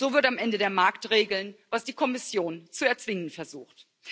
So wird am Ende der Markt regeln, was die Kommission zu erzwingen versucht.